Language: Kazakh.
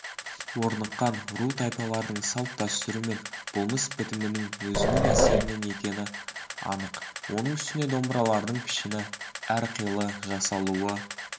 орныққан ру-тайпалардың салт-дәстүрі мен болмыс-бітімінің өзіндік әсерінен екені анық оның үстіне домбыралардың пішіні әрқилы жасалуы